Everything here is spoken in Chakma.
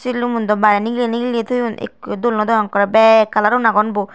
silumun dow barey nigilley nigilley toyun ikko yo dol nodegong ekkorey bek colour un aagon bo.